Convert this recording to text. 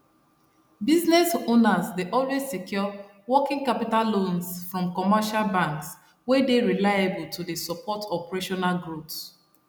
business owners dey always secure working capital loans from commercial banks wey dey reliable to dey support operational growth